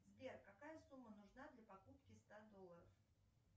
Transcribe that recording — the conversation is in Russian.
сбер какая сумма нужна для покупки ста долларов